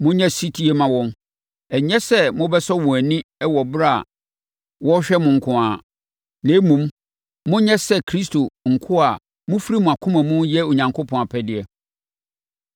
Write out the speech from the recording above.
Monyɛ ɔsetie mma wɔn, ɛnyɛ sɛ mobɛsɔ wɔn ani wɔ ɛberɛ a wɔrehwɛ mo nko ara, na mmom, monyɛ sɛ Kristo nkoa a mofiri mo akoma mu reyɛ Onyankopɔn apɛdeɛ.